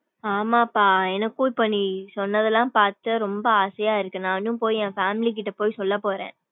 ஆமாப்பா. எனக்கும் இப்ப நீ சொன்னதுலாம் பாத்து ரொம்ப ஆசையா இருக்கு நானும் போயி என் family கிட்ட போயி சொல்ல போறேன்.